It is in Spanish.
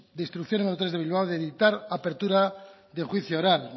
de instrucción número tres de bilbao de dictar apertura de juicio oral